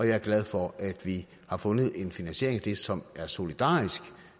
jeg er glad for at vi har fundet en finansiering af det som er solidarisk